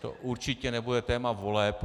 To určitě nebude téma voleb.